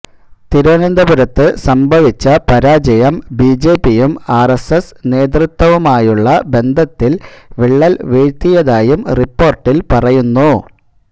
തിരുവനന്തപുരത്ത് സംഭവിച്ച പരാജയം ബിജെപിയും ആർഎസ്എസ് നേതൃത്വവുമായുള്ള ബന്ധത്തിൽ വിള്ളൽ വീഴ്ത്തിയതായും റിപ്പോർട്ടിൽ പറയുന്നു